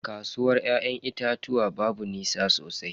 Kasuwar ya'yan itatuwan babu nisa sosai.